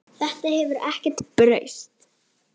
Þetta hefur ekkert breyst.